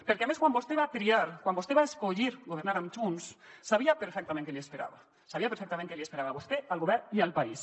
perquè a més quan vostè va triar quan vostè va escollir governar amb junts sabia perfectament què li esperava sabia perfectament què li esperava a vostè al govern i al país